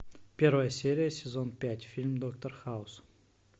первая серия сезон пять фильм доктор хаус